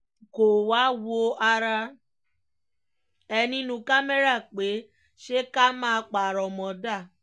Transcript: kó o wáá wo ara ẹ nínú kámẹ́rà pé ṣé ká má parọ́ mọ́ dáa